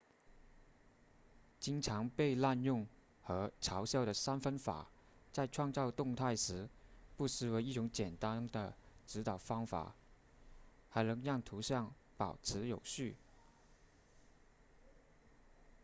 经常被滥用和嘲笑的三分法在创造动态时不失为一种简单的指导方法还能让图像保持有序